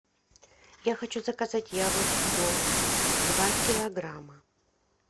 я хочу заказать яблоки голд два килограмма